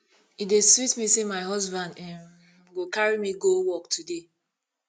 e dey sweet me say my husband um go carry me go work today